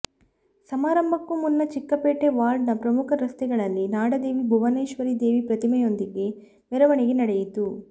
ಸಮಾರಂಭಕ್ಕೂ ಮುನ್ನ ಚಿಕ್ಕಪೇಟೆ ವಾರ್ಡ್ನ ಪ್ರಮುಖ ರಸ್ತೆಗಳಲ್ಲಿ ನಾಡದೇವಿ ಭುವನೇಶ್ವರಿ ದೇವಿ ಪ್ರತಿಮೆಯೊಂದಿಗೆ ಮೆರವಣಿಗೆ ನಡೆಯಿತು